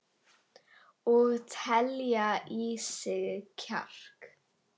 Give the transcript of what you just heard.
Og telja í sig kjark.